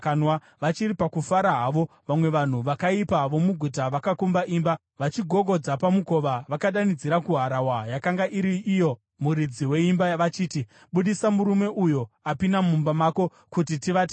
Vachiri pakufara havo, vamwe vanhu vakaipa vomuguta vakakomba imba. Vachigogodza pamukova, vakadanidzira kuharahwa yakanga iri iyo muridzi weimba vachiti, “Budisa murume uyo apinda mumba mako kuti tivate naye.”